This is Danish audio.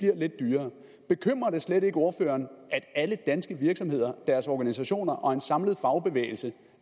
lidt dyrere bekymrer det slet ikke ordføreren at alle danske virksomheder deres organisationer og en samlet fagbevægelse